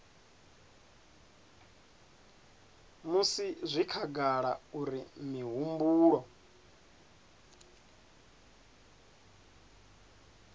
musi zwi khagala uri mihumbulo